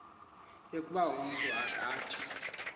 yokoba umntu akatsha